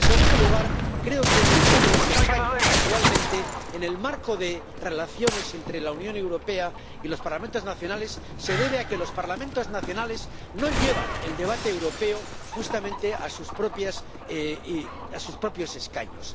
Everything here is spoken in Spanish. Y, en segundo lugar, creo que mucho de lo que falla actualmente en el marco de relaciones entre la Unión Europea y los Parlamentos nacionales se debe a que los Parlamentos nacionales no llevan el debate europeo justamente a sus propios escaños.